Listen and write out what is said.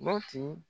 Mati